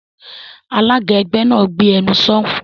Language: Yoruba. Alága ẹgbẹ́ náà, "Gbé ẹnu sọ̀ún!"